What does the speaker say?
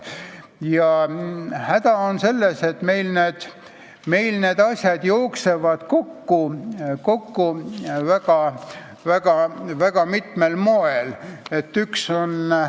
Häda on selles, et meil jooksevad need asjad väga mitmel moel kokku.